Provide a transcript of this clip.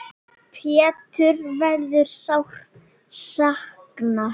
Péturs verður sárt saknað.